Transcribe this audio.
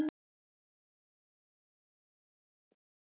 Þá var ég orð